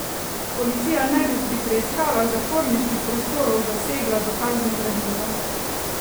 Policija naj bi pri preiskavah zaporniških prostorov zasegla dokazno gradivo.